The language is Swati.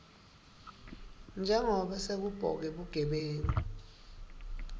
njengobe sekubhoke bugebengu